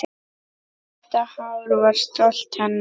Þetta hár var stolt hennar.